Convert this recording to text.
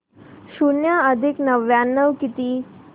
शून्य अधिक नव्याण्णव किती